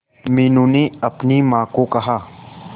मीनू ने अपनी मां को कहा